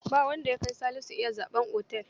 Ba wanda ya kai Salisu iya zaɓen otel.